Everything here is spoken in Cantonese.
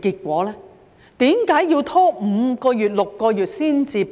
為何要拖5個月、6個月才提供？